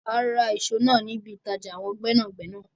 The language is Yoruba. A Ra ìṣó náà níbi ìtàjà àwọn gbẹ́nàgbẹ́nà